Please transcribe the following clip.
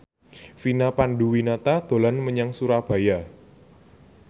Vina Panduwinata dolan menyang Surabaya